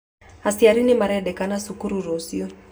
Aciari nĩ marendekana cukuru rũciũ